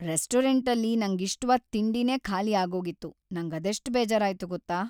ರೆಸ್ಟೋರಂಟಲ್ಲಿ ನಂಗಿಷ್ಟವಾದ್‌ ತಿಂಡಿನೇ ಖಾಲಿ ಆಗೋಗಿತ್ತು, ನಂಗದೆಷ್ಟ್‌ ಬೇಜಾರಾಯ್ತು ಗೊತ್ತಾ?